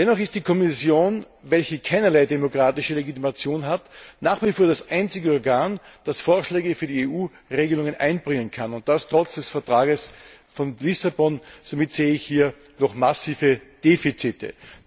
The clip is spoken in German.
Dennoch ist die Kommission, welche keinerlei demokratische Legitimation besitzt, nach wie vor das einzige Organ, das Vorschläge für die EU Regelungen einbringen kann und das trotz des Vertrags von Lissabon. Somit sehe ich hier noch massive Defizite.